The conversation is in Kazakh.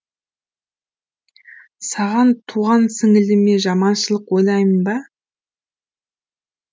саған туған сіңіліме жаманшылық ойлаймын ба